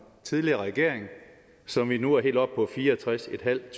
tidligere regering så vi nu er helt oppe på fireogtredstusinde og